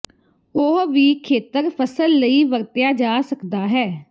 ਉਹ ਵੀ ਖੇਤਰ ਫਸਲ ਲਈ ਵਰਤਿਆ ਜਾ ਸਕਦਾ ਹੈ